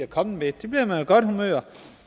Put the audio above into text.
kommet med det bliver man jo i godt humør